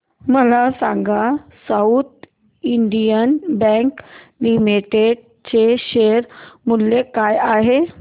मला सांगा South Indian Bank Limited चे शेअर मूल्य काय आहे